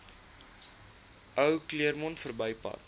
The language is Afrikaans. ou claremont verbypad